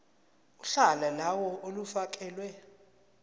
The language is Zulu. uhla lawo olufakelwe